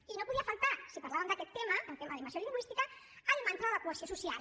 i no podia faltar si parlàvem d’aquest tema del tema de la immersió lingüística el mantra de la cohesió social